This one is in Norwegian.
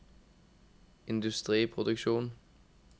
industriproduksjon